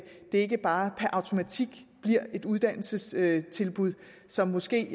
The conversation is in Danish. ikke bare per automatik bliver et uddannelsestilbud som måske